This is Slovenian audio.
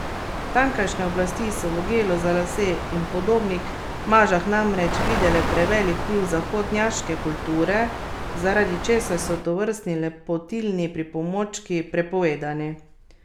Tamkajšnje oblasti so v gelu za lase in podobnih mažah namreč videle prevelik vpliv zahodnjaške kulture, zaradi česar so tovrstni lepotilni pripomočki prepovedani.